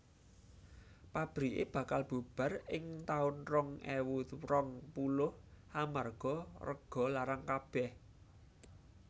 Pabrike bakal bubar ing taun rong ewu rong puluh amarga rego larang kabeh